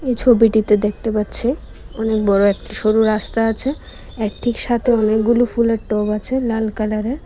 এই ছবিটিতে দেখতে পাচ্ছি অনেক বড় একটা সরু রাস্তা আছে এক দিক সাতে অনেকগুলো ফুলের টব আছে লাল কালার এর।